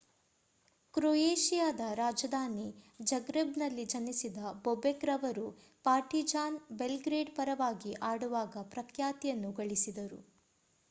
ಕ್ರೊಯೇಷಿಯಾದ ರಾಜಧಾನಿ ಜಗ್ರೆಬ್‌ನಲ್ಲಿ ಜನಿಸಿದ ಬೊಬೆಕ್ ರವರು ಪಾರ್ಟಿಜಾನ್ ಬೆಲ್‌ಗ್ರೇಡ್ ಪರವಾಗಿ ಆಡುವಾಗ ಪ್ರಖ್ಯಾತಿಯನ್ನು ಗಳಿಸಿದರು